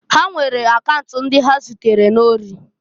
Ha were akaunt ndịa ha na-ezugharị ori.